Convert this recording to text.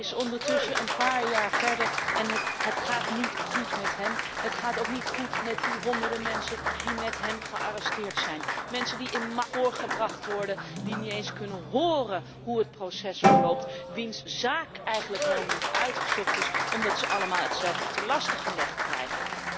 Hij is ondertussen een paar jaar verder en het gaat niet goed met hem. Het gaat ook niet goed met die honderden mensen die met hem gearresteerd zijn, mensen die in massaprocessen voorgebracht worden, die niet eens kunnen horen hoe het proces verloopt, wiens zaak eigenlijk helemaal niet uitgezocht is omdat ze allemaal hetzelfde ten laste gelegd krijgen.